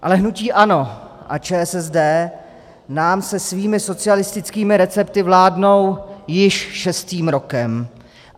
Ale hnutí ANO a ČSSD nám se svými socialistickými recepty vládnou již šestým rokem.